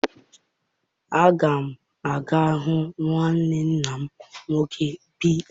Aga m aga hụ nwanne nna m nwoke bi n'Aba.